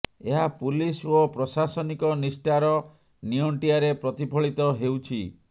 ଏହା ପୁଲିସ ଓ ପ୍ରଶାସନିକ ନିଷ୍ଠାର ନିଅଣ୍ଟିଆରେ ପ୍ରତିଫଳିତ ହେଉଛି